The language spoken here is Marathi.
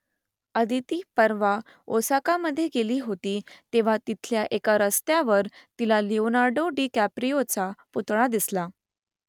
अदिती परवा ओसाकामध्ये गेली होती तेव्हा तिथल्या एका रस्त्यावर तिला लिओनार्डो डिकॅप्रियोचा पुतळा दिसला